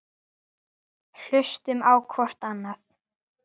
Hlustum á hvort annað.